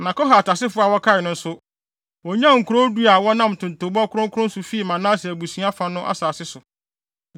Na Kohat asefo a wɔkae no nso, wonyaa nkurow du a wɔnam ntontobɔ kronkron so fii Manase abusua fa no asase so.